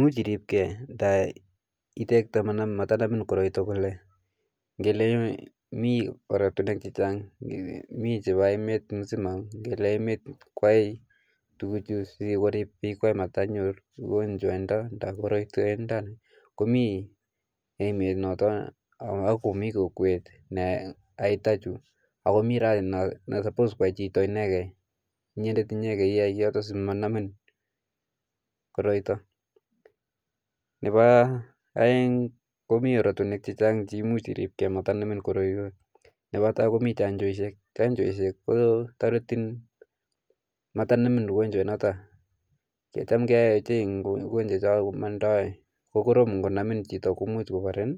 much iripke komanamin koroito mite oratunwek chechang mite chepo emet cheripe piikway matkonyor korotwek akomi nepo kokwet ako nepo chii neyae simanamin koroito nepo aeng komi oratunwek chechang chemuch irip simanamin koroito nepo tai ko chanjo koripe matkonamin korotwek ngonamin chito komuch konamin